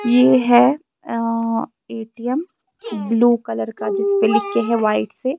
.یہ ہیں آ A T M blue colour کا جسپے لکھ کے ہیں وائٹ سے